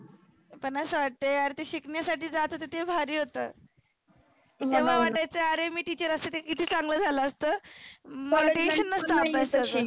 पण असं वाटतंं यार शिकण्यासाठी जात होतो ते भारी होतं. तेव्हा वाटायच आरे मी teacher असते तर किती चांगलं झालं असतं. मला tension नसतं अभ्यासाच.